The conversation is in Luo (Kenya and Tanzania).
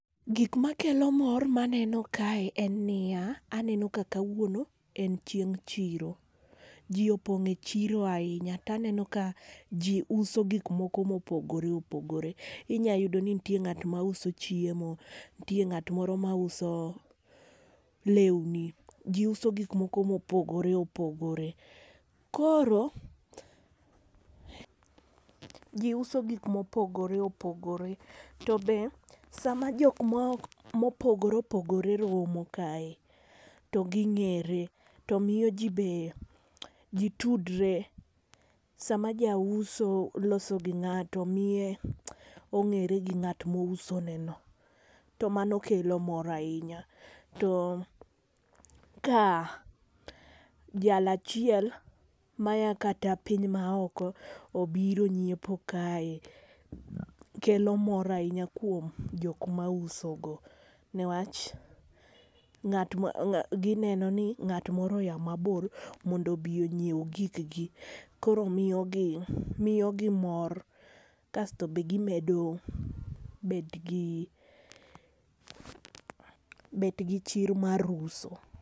Gik makelo mor maneno kae en niya aneno ka kawuono en chieng' chiro. Jii opong' e chiro ahinya taneno ka jii uso gik moko mopogore opogore. Inya yudo ni ntie ng'at mauso chiemo , ntie ng'at moro mauso lewni , jii uso gik moko mopgore opogore koro jii uso gik mopogore opogore. To be sama jok ma mopogore opogore romo kae to ging'ere to miyo jii be jii tudre sama jauso loso gi ng'ato miye ong'ere gi ng'at mouso ne no to mano kelo mor ahinya. To ka jal achiel maya kata piny maoko obiro nyiepo kae kelo mor ahinya kuom jok mauso go newach ng'at ma gineno ni ng'ato moro oya mabor mondo obi onyiew gik gi koro miyo gi miyo gi mor kasto be gimedo bet gi, bet gi chir mar uso.